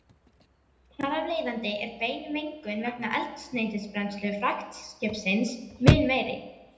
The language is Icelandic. Þar af leiðandi er bein mengun vegna eldsneytisbrennslu fraktskipsins mun meiri.